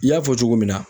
I y'a fɔ cogo min na